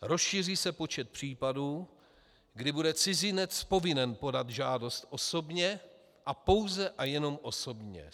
Rozšíří se počet případů, kdy bude cizinec povinen podat žádost osobně, a pouze a jenom osobně.